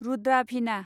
Rudra भिना